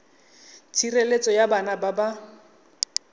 tshireletso ya bana ba ba